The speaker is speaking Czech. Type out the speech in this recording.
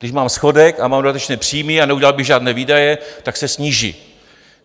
Když máme schodek a mám dodatečné příjmy a neudělal bych žádné výdaje, tak se sníží.